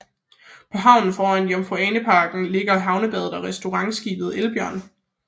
På havnen foran Jomfru Ane Parken ligger Havnebadet og restaurantskibet Elbjørn